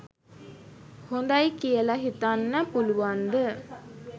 හොඳයි කියල හිතන්න පුළුවන්ද?